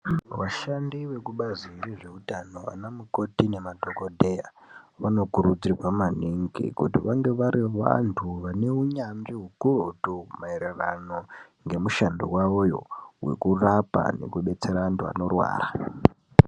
Vashandi vekubazi rezveutano anamukoti nemadhokodheya vanokurudzirwa maningi kuti vange vari vantu vaneunyanzvi ukurutu mayererano ngemushando wavoyo wekurapa nekudetsera antu anorwara.